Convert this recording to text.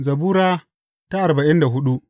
Zabura Sura arba'in da hudu